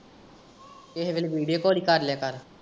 ਕਿਹੇ ਵੇਲੇ video call ਹੀ ਕਰ ਲਿਆ ਕਰ।